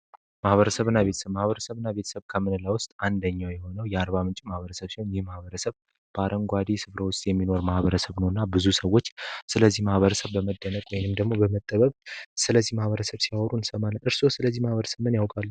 ማበሰብና ማህበረ ቤተሰብ ውስጥ አንደኛው የሆነው የአርባምንጭ ማህበረሰብ የማህበረሰብ ባረንጓዴ የሚኖር ማህበረሰብ እና ብዙ ሰዎች ማህበረሰብ በመደነቅ በመተባበር ስለዚህ ማህበረሰብን እርሶ ምን ያውቃሉ።